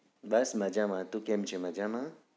બસ મજામાં તું કેમ છે મજામાં